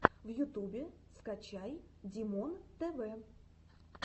в ютубе скачай димонтв